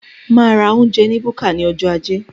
Máa ra oúnjẹ ní búkà ní ọjọ ajé